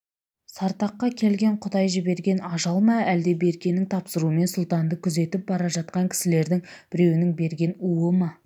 сартаққа келген құдай жіберген ажал ма әлде беркенің тапсыруымен сұлтанды күзетіп бара жатқан кісілердің біреуінің берген уы ма